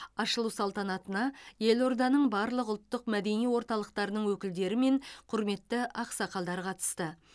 ашылу салтанатына елорданың барлық ұлттық мәдени орталықтарының өкілдері мен құрметті ақсақалдар қатысты